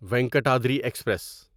Venkatadri express